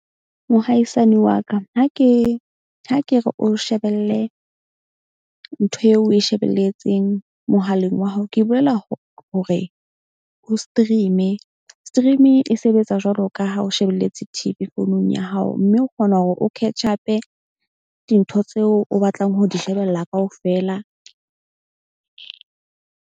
Mohaisane wa ka ha ke ha ke re o shebelle ntho eo oe shebelletseng mohaleng wa hao. Ke bolela hore o stream-e. Stream-i e sebetsa jwalo ka ha o shebelletse T_V founung ya hao. Mme o kgona hore o catch up-e dintho tseo o batlang ho di shebella kaofela.